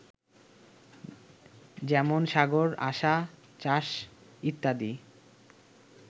যেমন সাগর, আসা, চাষ, ইত্যাদি